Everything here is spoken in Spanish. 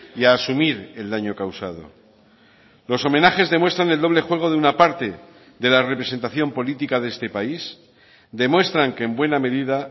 y a asumir el daño causado los homenajes demuestran el doble juego de una parte de la representación política de este país demuestran que en buena medida